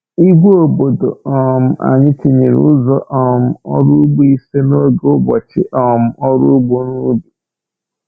Ìgwè obodo um anyị tụnyere ụzọ um ọrụ ugbo ise n’oge ụbọchị um ọrụ ugbo n’ubi.